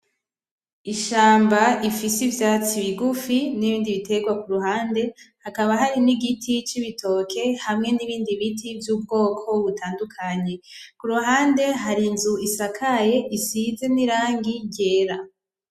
Ishamba ifise ivyatsi bigufi n'ibindi bitegwa kuruhande , hakaba hari n'igiti c'ibitoke hamwe n'ibindi biti vy'ubwoko butandukanye , kuruhande hari inzu isakaye isize n'irangi ryera.